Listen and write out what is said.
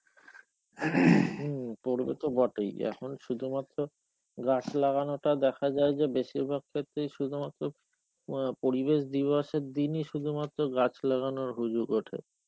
হম পরবে তো বটেই, এখন শুধুমাত্র গাছ লাগানোটা দেখা যায় যে বেশিরভাগ ক্ষেত্রেই শুধুমাত্র প~ পরিবেশ দিবসের দিনই শুধুমাত্র গাছ লাগানোর হুজুগ ওঠে.